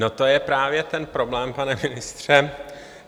No to je právě ten problém, pane ministře.